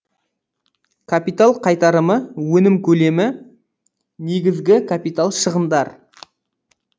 капитал қайтарымы өнім көлемі негізгі капитал шығындар